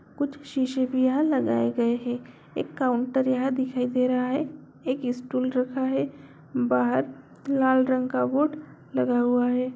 कुछ शीशे भी यहाँ लगाए गए हैं एक काउंटर यहाँ दिखाई दे रहा है एक स्टूल रखा है बाहर लाल रंग का बोर्ड लगा हुआ है।